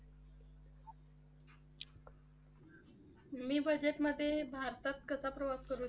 मी Budget मध्ये भारतात कसा प्रवास करायचा?